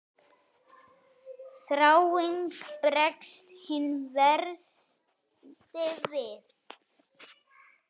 Þráinn bregst hinn versti við.